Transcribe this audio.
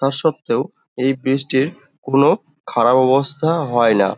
তার সর্তেও এই ব্রিজটির কোনো খারাপ অবস্থা হয় না।